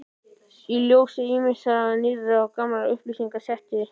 Í ljósi ýmissa nýrra og gamalla upplýsinga setti